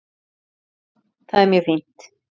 Jú, það er mjög fínt.